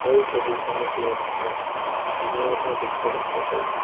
এই ছবিখনৰ ভিতৰত আমি জিম ৰ এটা দৃশ্য দেখিব পাইছোঁ।